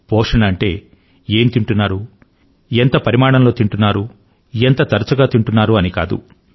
పోషణ అంటే ఏం తింటున్నారు ఎంత పరిమాణంలో తింటున్నారు ఎంత తరచుగా తింటున్నారు అని కాదు